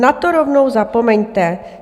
Na to rovnou zapomeňte.